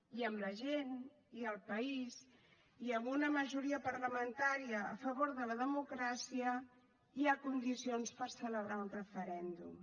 i amb la gent i el país i amb una majoria parlamentària a favor de la democràcia hi ha condicions per celebrar un referèndum